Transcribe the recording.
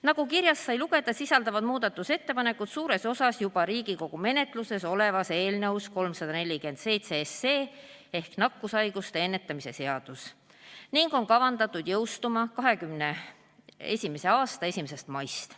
Nagu kirjast sai lugeda, sisalduvad muudatusettepanekud suures osas juba Riigikogu menetluses olevas eelnõus 347 ehk nakkushaiguste ennetamise seaduse eelnõus ning on kavandatud jõustuma 2021. aasta 1. maist.